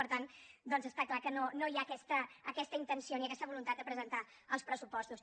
per tant doncs està clar que no hi ha aquesta intenció ni aquesta voluntat de presentar els pressupostos